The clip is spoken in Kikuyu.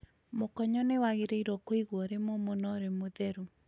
Mũkonyo nĩ wagĩrĩirũo kũigwo ũrĩ mũmũ na ũrĩ mũtheru